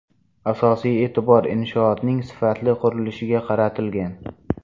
Asosiy e’tibor inshootning sifatli qurilishiga qaratilgan.